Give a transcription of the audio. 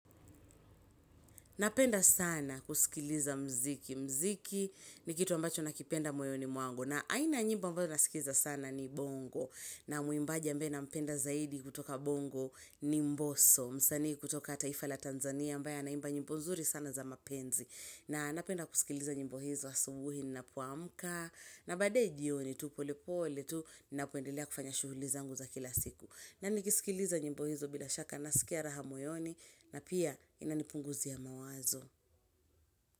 Napenda sana kusikiliza mziki. Mziki ni kitu ambacho nakipenda moyoni mwangu. Mziki ni kitu ambacho nakipenda moyoni mwangu. Na aina nyimbo ambazo nasikiza sana ni bongo. Na muimbaje ambage nampenda zaidi kutoka bongo ni mbosoo. Msani kutoka taifa la Tanzania ambaye anaimba nyimbo nzuri sana za mapenzi. Na baadaye jioni tu pole pole tu na kuendelea kufanya shughuli zangu za kila siku. Na nikisikiliza nyimbo hizo bila shaka nasikia raha moyoni. Na pia inanipunguzia mawazo.